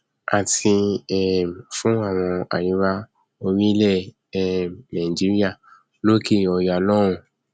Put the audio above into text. àti um fún àwọn aríwá orílẹ um nàìjíríà lókè ọya lọhùnún